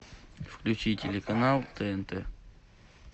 включи телеканал тнт